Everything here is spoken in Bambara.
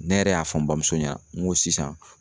Ne yɛrɛ y'a fɔ n bamuso ɲɛna, n ko sisan